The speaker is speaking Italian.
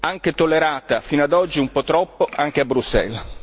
è stata tollerata fino ad oggi un po' troppo, anche a Bruxelles.